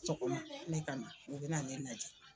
ne kama u bɛ na ne lajɛ.